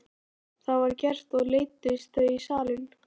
Það var gert og leiddust þau í salinn.